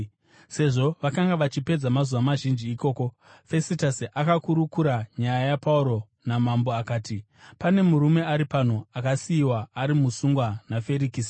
Sezvo vakanga vachipedza mazuva mazhinji ikoko, Fesitasi akakurukura nyaya yaPauro namambo. Akati, “Pane murume ari pano akasiyiwa ari musungwa naFerikisi.